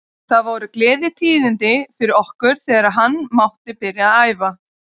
Það voru gleðitíðindi fyrir okkur þegar hann mátti byrja að æfa.